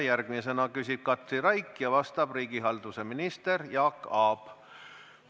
Järgmisena küsib Katri Raik ja vastab riigihalduse minister Jaak Aab.